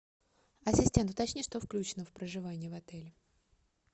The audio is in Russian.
ассистент уточни что включено в проживание в отеле